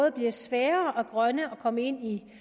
at det bliver sværere at komme ind i